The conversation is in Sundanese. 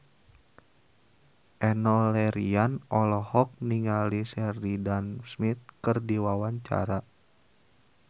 Enno Lerian olohok ningali Sheridan Smith keur diwawancara